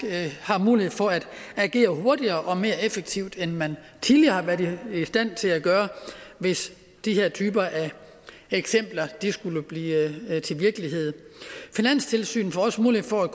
har mulighed for at agere hurtigere og mere effektivt end man tidligere har været i stand til at gøre hvis de her typer af eksempler skulle blive til virkelighed finanstilsynet får også mulighed for at